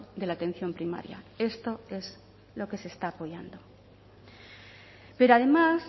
de la atención primaria esto es lo que se está apoyando pero además